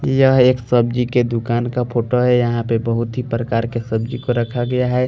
यह एक सब्जी के दुकान का फोटो है यहाँ पे बहुत ही प्रकार के सब्जी को रखा गया है।